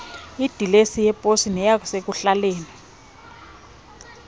idilesi yeposi neyasekuhlaleni